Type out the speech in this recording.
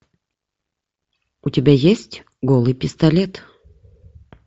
у тебя есть голый пистолет